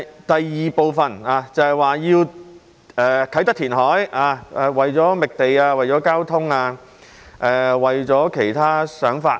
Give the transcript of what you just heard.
第二部分提及要在啟德填海，原因是為了覓地、交通及其他想法。